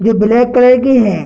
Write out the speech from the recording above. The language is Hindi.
जो ब्लैक कलर की है।